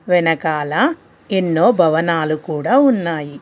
వెనకాల ఎన్నో భవనాలు కూడా ఉన్నాయి.